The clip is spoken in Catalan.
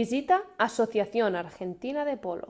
visita asociación argentina de polo